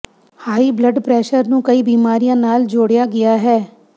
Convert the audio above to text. high blood pressure ਨੂੰ ਕਈ ਬਿਮਾਰੀਆਂ ਨਾਲ ਜੋੜਿਆ ਗਿਆ ਹੈ